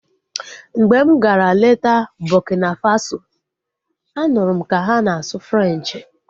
Mgbe m gara leta Burkina Faso, a nụrụ m ka ha na-asụ Frenchi